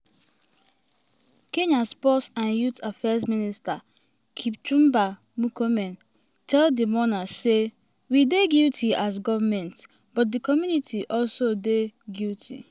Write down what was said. kenya sports and youth affairs minister kipchumba murkomen tell di mourners say "we dey guilty as goment but di community also dey guilty."